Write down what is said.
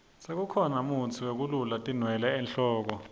sekukhona mutsi wekulula tinwele enhloko